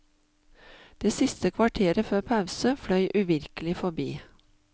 Det siste kvarteret før pause fløy uvirkelig forbi.